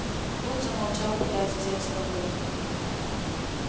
вуд замолчал пытаясь взять себя в руки